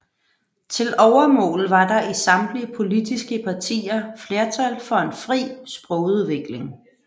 Til overmål var der i samtlige politiske partier flertal for en fri sprogudvikling